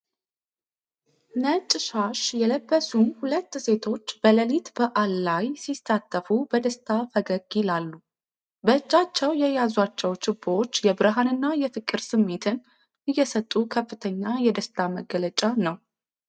ነጭ ሻሽ የለበሱ ሁለት ሴቶች በሌሊት በዓል ላይ ሲሳተፉ በደስታ ፈገግ ይላሉ። በእጃቸው የያዟቸው ችቦዎች የብርሃንና የፍቅር ስሜትን እየሰጡ ከፍተኛ የደስታ መግለጫ ነው።